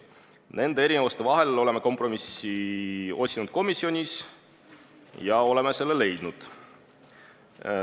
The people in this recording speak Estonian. Nende erinevuste vahel oleme komisjonis kompromissi otsinud ja oleme selle leidnud.